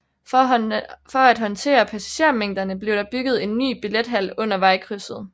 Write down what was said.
For at håndtere passagermængderne blev der bygget en ny billethal under vejkrydset